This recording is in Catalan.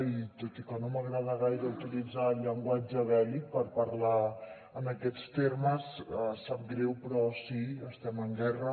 i tot i que no m’agrada gaire utilitzar el llenguatge bèl·lic per parlar d’aquests temes sap greu però sí estem en guerra